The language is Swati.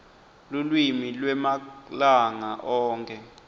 lulwimi lwemalanga onkhe